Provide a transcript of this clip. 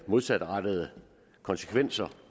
modsatrettede konsekvenser